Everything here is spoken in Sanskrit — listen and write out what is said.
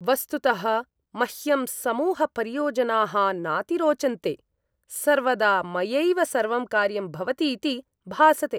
वस्तुतः मह्यं समूहपरियोजनाः नाति रोचन्ते। सर्वदा मयैव सर्वं कार्यं भवति इति भासते।